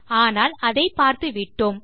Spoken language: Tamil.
ஆனால் அதை பார்த்துவிட்டோம்